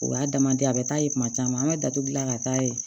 O y'a damadan ye a bɛ taa ye kuma caman an bɛ datugu gilan ka taa ye